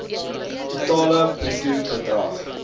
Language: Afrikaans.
totale bruto bedrag